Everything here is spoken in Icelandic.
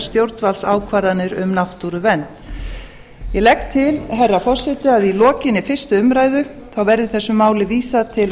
stjórnvaldsákvarðanir um náttúruvernd ég legg til herra forseti að að lokinni fyrstu umræðu verði þessi máli vísað til